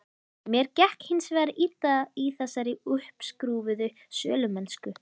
Mér gekk hins vegar illa í þessari uppskrúfuðu sölumennsku.